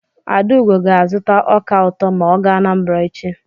Adaugo ga-azụta ọka ụtọ ma ọ gaa Anambara echi.